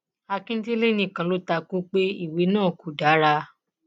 akíndélé nìkan ló ta kú pé ìwé náà kò dára